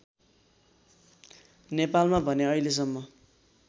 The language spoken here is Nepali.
नेपालमा भने अहिलेसम्म